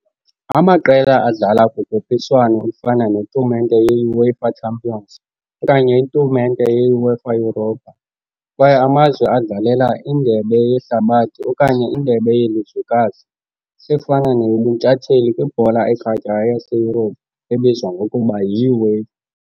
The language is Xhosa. Amaqela adlala kukhuphiswano olufana netumente yeUEFA Champions okanye itumente yeUEFA Europa, kwaye amazwe adlalela indebe yeHlabathi okanye indebe yelizwekazi efana neyobuntshatsheli kwibhola ekhatywayo yaseYurophu ebizwa ngokuba yiUEFA.